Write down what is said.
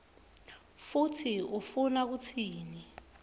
kutsi ufuna kutsini